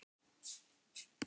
Það lá alveg í augum uppi.